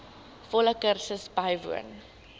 volle kursus bywoon